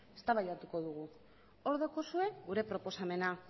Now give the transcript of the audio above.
eztabaidatuko dugu hor daukazue gure proposamena